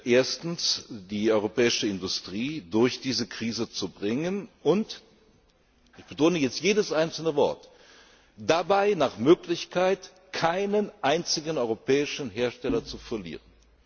Ziele. Erstens, die europäische Industrie durch diese Krise zu bringen und ich betone jetzt jedes einzelne Wort dabei nach Möglichkeit keinen einzigen europäischen Hersteller zu verlieren.